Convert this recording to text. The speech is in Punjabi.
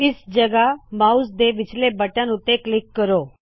ਇਸ ਜਗਹ ਮਾਉਸ ਦੇ ਵਿਚਲੇ ਬਟਨ ਉੱਤੇ ਕਲਿੱਕ ਕਰੋ